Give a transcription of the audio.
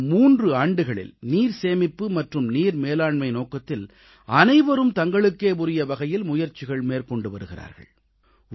கடந்த 3 ஆண்டுகளில் நீர்சேமிப்பு மற்றும் நீர் மேலாண்மை நோக்கத்தில் அனைவரும் தங்களுக்கே உரிய வகையில் முயற்சிகள் மேற்கொண்டு வருகிறார்கள்